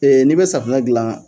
Ee ni be safunɛ gilan.